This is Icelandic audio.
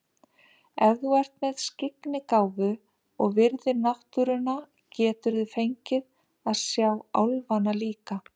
Ef þú ert með skyggnigáfu og virðir náttúruna geturðu fengið að sjá álfana líka.